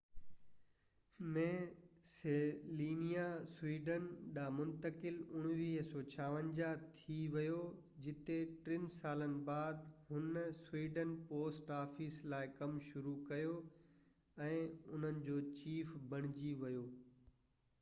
1956 ۾ سلينيا سويڊن ڏانهن منتقل ٿي ويو جتي ٽن سالن بعد هُن سويڊن پوسٽ آفيس لاءِ ڪم شروع ڪيو ۽ انهن جو چيف بڻجي ويو